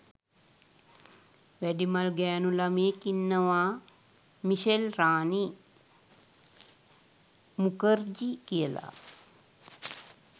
වැඩිමල් ගෑනු ළමයෙක් ඉන්නවා මිෂෙල් රානි මුඛර්ජී කියලා